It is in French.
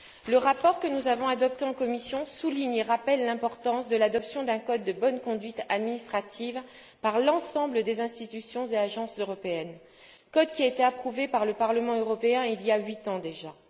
Le rapport que nous avons adopté en commission souligne et rappelle l'importance de l'adoption d'un code de bonne conduite administrative par l'ensemble des institutions et agences européennes, code qui a été approuvé par le Parlement européen il y a huit ans déjà.